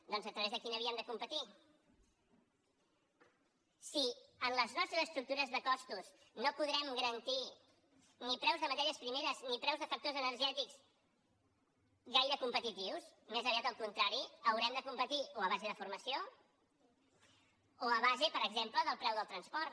doncs a través de quina via hem de competir si amb les nostres estructures de costos no podrem garantir ni preus de matèries primeres ni preus de factors energètics gaire competitius més aviat al contrari haurem de competir o a base de formació o a base per exemple del preu del transport